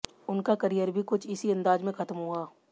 उनका करियर भी कुछ इसी अंदाज में खत्म हुआ